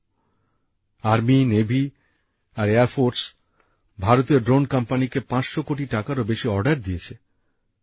সেনাবাহিনী নৌবাহিনী আর বিমানবাহিনী ভারতীয় ড্রোন কোম্পানিকে ৫০০ কোটি টাকারও বেশির অর্ডার দিয়েছে